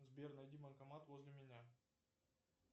сбер найди банкомат возле меня